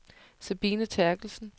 Sabine Therkelsen